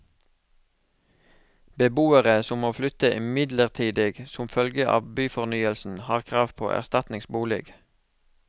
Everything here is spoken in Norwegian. Beboere som må flytte midlertidig som følge av byfornyelsen har krav på erstatningsbolig.